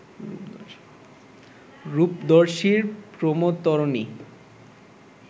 রূপদর্শীর প্রমোদতরণী